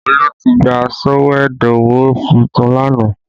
Olu tí gba sọ̀wédowó tuntun lánàá